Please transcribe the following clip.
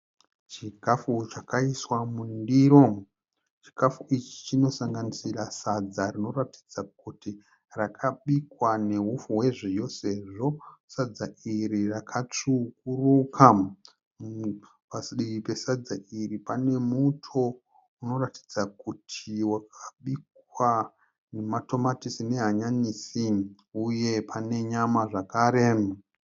Chikafu chakaiswa mundiro. Chikafu ichi chinosanganisira sadza rinoratidza kuti rakabikwa neupfu wezviyo sezvo sadza iri rakatsvukuruka. Padivi pesadza iri pane muto unoratidza kuti wakabikwa nematomatisi nehanyanisi. Uye pane nyama zvakare.